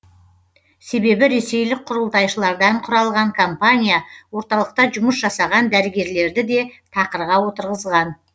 себебі ресейлік құрылтайшылардан құралған компания орталықта жұмыс жасаған дәрігерлерді де тақырға отырғызған